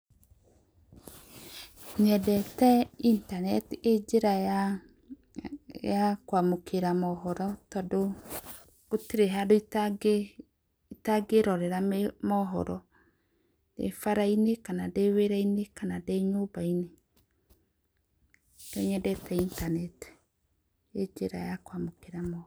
Nyendete intaneti ĩnjĩra ya ya kwamũkĩra mohoro, tondũ gũtirĩ handũ ita ngĩrorera mohoro, ndĩ bara-inĩ kana ndĩwĩra -inĩ kana ndĩnyumba -inĩ. Nĩkio nyendete intaneti, ĩnjĩra ya kwamũkĩra mohoro.